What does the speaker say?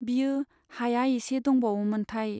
बियो, हाया एसे दंबावो मोनथाय !